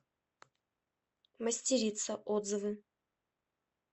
мастерица отзывы